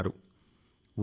ఇది మంచి ధోరణి